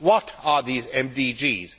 What are these MDGs?